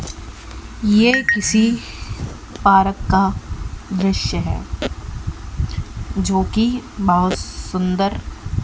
ये किसी पार्क का दृश्य है जो की बहुत सुंदर--